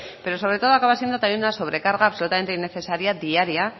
pero sobre todo acaba siendo también una sobrecarga absolutamente innecesaria diaria